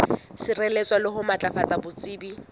sireletsa le ho matlafatsa botsebi